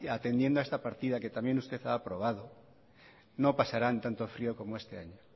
atendiendo a esta partida que también esto se ha aprobado no pasarán tanto frio como este año